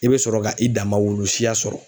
I bɛ sɔrɔ ka i dama wulu siya sɔrɔ.